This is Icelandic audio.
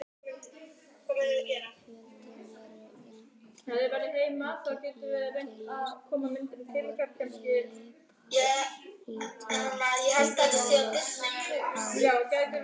Fjöllin eru einnig úr líparíti enda ljós á lit.